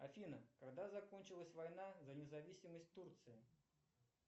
афина когда закончилась война за независимость турции